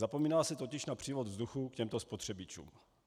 Zapomíná se totiž na přívod vzduchu k těmto spotřebičům.